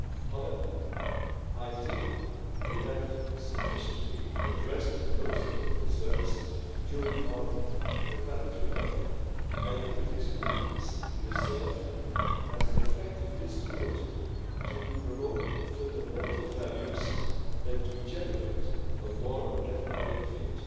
However, I think we have sufficiently addressed most of the concerns during our preparatory work. I believe these agreements will serve as an effective instrument to promote fundamental values and create a more level playing field.